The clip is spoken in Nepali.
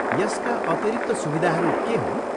यसका अतिरिक्त सुविधाहरू के हुन्?